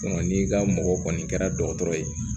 n'i ka mɔgɔ kɔni kɛra dɔgɔtɔrɔ ye